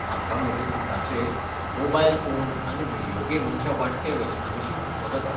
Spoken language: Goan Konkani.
म्हाका म्हजे पुताचे मोबायल फोन आनी व्हिडिओ गेमींच्या वाडट्या वेसनाविशीं हुस्को जाता.